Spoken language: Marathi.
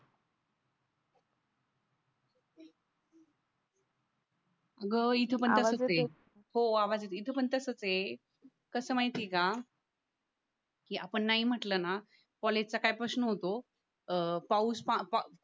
ग इथे पण तसंच आहे आवाज येते हो आवाज येते इथे पण तसंच आहे कसं माहिती आहे का की आपण नाही म्हटलं ना कॉलेजच्या काय प्रश्न होतं अं पाऊस पा प